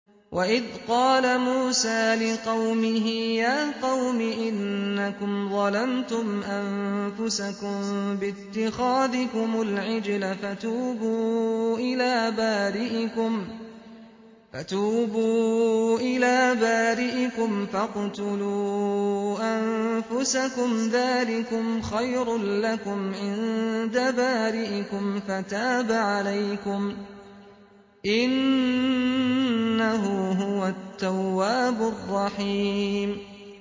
وَإِذْ قَالَ مُوسَىٰ لِقَوْمِهِ يَا قَوْمِ إِنَّكُمْ ظَلَمْتُمْ أَنفُسَكُم بِاتِّخَاذِكُمُ الْعِجْلَ فَتُوبُوا إِلَىٰ بَارِئِكُمْ فَاقْتُلُوا أَنفُسَكُمْ ذَٰلِكُمْ خَيْرٌ لَّكُمْ عِندَ بَارِئِكُمْ فَتَابَ عَلَيْكُمْ ۚ إِنَّهُ هُوَ التَّوَّابُ الرَّحِيمُ